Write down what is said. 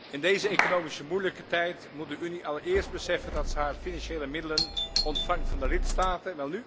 In deze economisch moeilijke tijd moet de Unie allereerst beseffen dat ze haar financiële middelen ontvangt van de lidstaten.